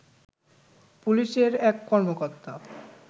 পুলিশের এক কর্মকর্তা